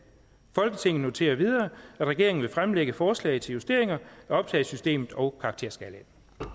folketinget noterer videre at regeringen vil fremlægge forslag til justeringer af optagesystemet og karakterskalaen